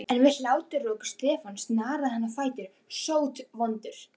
En við hláturroku Stefáns snaraðist hann á fætur, sótvondur.